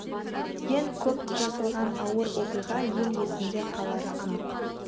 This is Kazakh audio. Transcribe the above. ең көп жасалған ауыр оқиға ел есінде қалары анық